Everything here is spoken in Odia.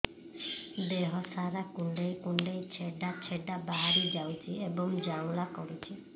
ଦେହ ସାରା କୁଣ୍ଡେଇ କୁଣ୍ଡେଇ ଛେଡ଼ା ଛେଡ଼ା ବାହାରି ଯାଉଛି ଏବଂ ଜ୍ୱାଳା କରୁଛି